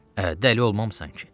Hə, dəli olmamsan ki?